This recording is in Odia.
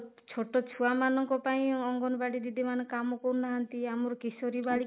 ଛୋଟ ଛୁଆ ମାନଙ୍କ ପାଇଁ ଅଙ୍ଗନବାଡି ଦିଦି ମାନେ କାମ କରୁନାହାନ୍ତି ଆମର କିଶୋରୀ ବାଳିକା